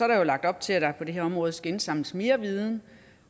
der jo lagt op til at der på det her område skal indsamles mere viden